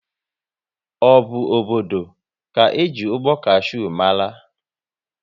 Ọ bụ obodo ka eji ụgbọ kashew mara?